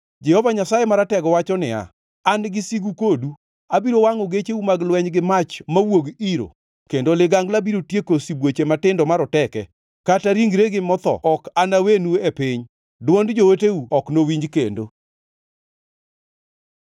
Jehova Nyasaye Maratego wacho niya, “An gi sigu kodu. Abiro wangʼo gecheu mag lweny gi mach mawuog iro kendo ligangla biro tieko sibuoche matindo maroteke. Kata ringregi motho ok anawenu e piny. Dwond jooteu ok nowinj kendo.”